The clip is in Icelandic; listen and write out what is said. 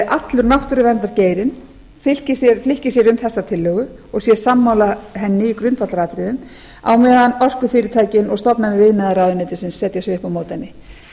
allur náttúruverndargeirinn álykti sér um þessa tillögu og sé sammála henni i grundvallaratriðum á meðan orkufyrirtækin og stofnanir iðnaðarráðuneytisins setja sig upp á móti henni